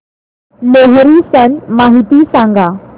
लोहरी सण माहिती सांगा